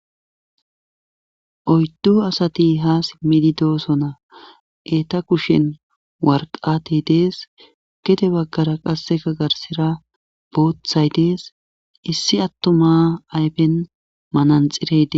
Oyddu asati ha simmidi doosona eeta kushen warqatey dees gede baggara qasseka garsira boothay dees issi atto maa aypen mananxireyde